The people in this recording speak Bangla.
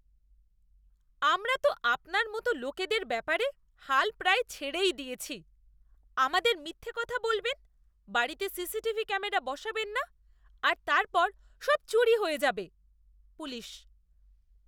আমরা তো আপনার মতো লোকেদের ব্যাপারে হাল প্রায় ছেড়েই দিয়েছি, আমাদের মিথ্যে কথা বলবেন, বাড়িতে সিসিটিভি ক্যামেরা বসাবেন না আর তারপর সব চুরি হয়ে যাবে। পুলিশ